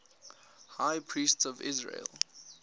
high priests of israel